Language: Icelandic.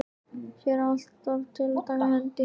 Hér þarf að taka til hendi.